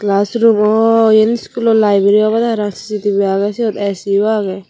ah soroommo yen iskulo laibarey obodey harang C_D agey A_C yo agey.